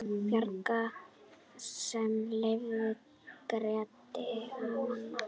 Bjarg sem lyfta Grettir vann.